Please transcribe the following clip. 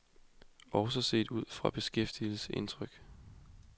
Også set udefra bekræftes indtrykket.